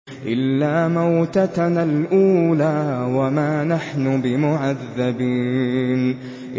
إِلَّا مَوْتَتَنَا الْأُولَىٰ وَمَا نَحْنُ بِمُعَذَّبِينَ